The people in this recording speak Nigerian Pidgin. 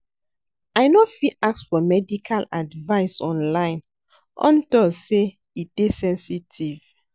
I no fit ask for medical advice online unto say e dey sensitive